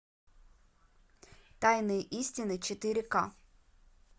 тайные истины четыре ка